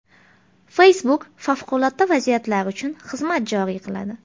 Facebook favqulodda vaziyatlar uchun xizmat joriy qiladi.